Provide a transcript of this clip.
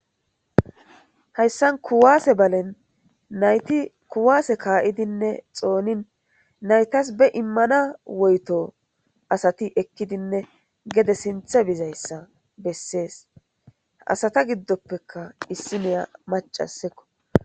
hayssan kuwase balen nayti kuwase ka7idinne xoonin naytas be immana woyto asati ekkidinne gede sinthe bizayssa bessees asata giddoppeka issi niya macasekko.